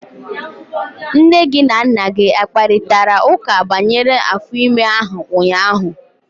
Nne gị na Nna gị akparịtara ụka banyere afọ ime ahụ ụnyahụ?